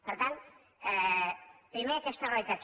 per tant primer aquesta realitat